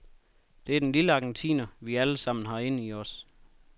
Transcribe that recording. Det er den lille argentiner, vi alle sammen har inden i os.